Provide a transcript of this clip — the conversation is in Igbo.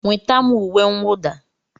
Nweta m uwe mwụda!